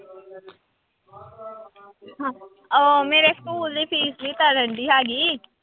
ਉਹ ਮੇਰੇ ਸਕੂਲ ਦੀ ਫੀਸ ਵੀ ਤਾਂ ਰਹਿੰਦੀ ਹੈਗੀ।